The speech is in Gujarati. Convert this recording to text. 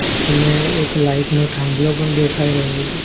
અને એક લાઇટ નો થાંભલો પણ દેખાય રહ્યો છે.